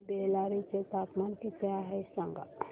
बेल्लारी चे तापमान किती आहे सांगा